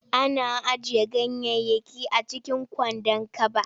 Ana ajiye ganyayyaki a cikin kwandon kaba.